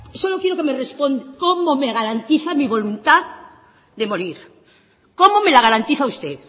solo quiero que me responda cómo me garantiza mi voluntad de morir cómo me la garantiza usted